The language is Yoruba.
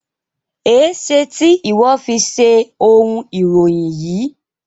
Ẹ ṣè tì iwọ fi ṣẹ ọ̀un iròyìn yí?